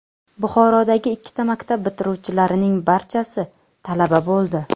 Buxorodagi ikkita maktab bitiruvchilarining barchasi talaba bo‘ldi.